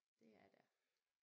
Det er der